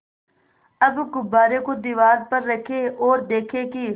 अब गुब्बारे को दीवार पर रखें ओर देखें कि